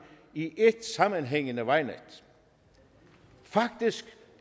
i et sammenhængende vejnet faktisk